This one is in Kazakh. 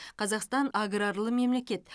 қазақстан аграрлы мемлекет